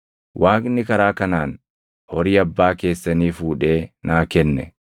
Waaqni karaa kanaan horii abbaa keessanii fuudhee naa kenne.